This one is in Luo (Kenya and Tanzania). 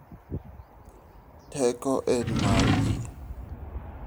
Teko en mar ji.